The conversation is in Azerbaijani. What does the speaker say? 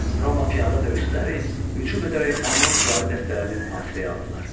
Roma piyada döyüşçüləri hücum edərək alban süvari dəstələrini mühasirəyə aldılar.